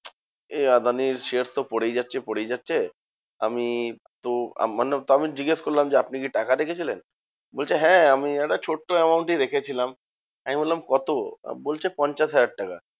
এই আদানির share তো পরেই যাচ্ছে পরেই যাচ্ছে, আমি তো আমি জিজ্ঞেস করলাম যে, আপনি কি টাকা রেখেছিলেন? বলছে হ্যাঁ আমি একটা ছোট্ট amount ই রেখেছিলাম, আমি বললাম কত? বলছে পঞ্চাশ হাজার টাকা।